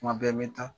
Kuma bɛɛ n bɛ taa